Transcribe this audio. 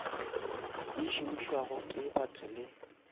di šomišwago ke batho le